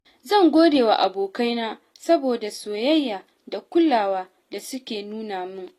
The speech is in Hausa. Zan gode wa abokaina saboda soyayya da kulawa da suke nuna min.